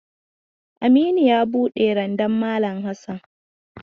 Aminu ya buɗe randan malam Hassan.